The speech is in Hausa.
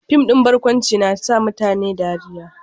Fim din barkwanci na sa mutane dariya